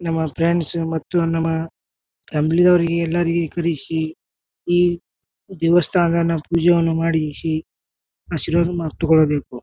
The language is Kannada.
ನಮ್ಮ ಫ್ರೆಂಡ್ಸ್ ಮತ್ತು ನಮ ಫಮ್ಲೀದವ್ರ್ಗೆ ಎಲ್ಲಾರಿಗೆ ಕರೀಸಿ ಈ ದೇವಸ್ಥಾನನ ಪೂಜೆವನ್ನು ಮಾಡಿಸಿ ಆಶೀರ್ವ್ನ್ ಮಾ ತೊಗೋಳ್ಬೇಕು.